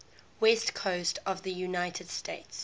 west coast of the united states